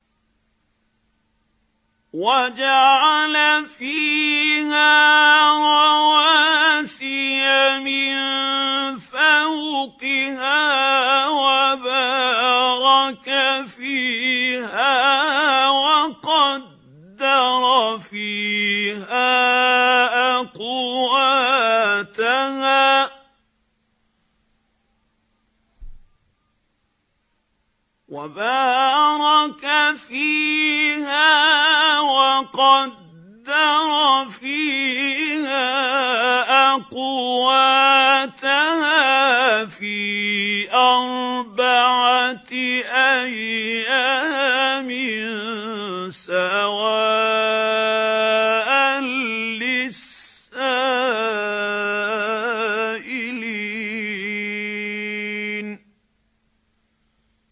وَجَعَلَ فِيهَا رَوَاسِيَ مِن فَوْقِهَا وَبَارَكَ فِيهَا وَقَدَّرَ فِيهَا أَقْوَاتَهَا فِي أَرْبَعَةِ أَيَّامٍ سَوَاءً لِّلسَّائِلِينَ